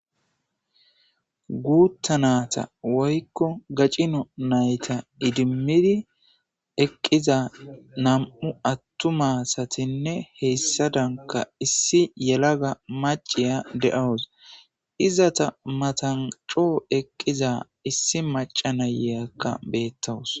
Guuttanata woykko gacino nayta idimmidi eqqiza nam7u attu maasatinne heyssa danka issi yelaga maciya de7awus izata matancoo eqqiza issi maca nayeyakka beettawus.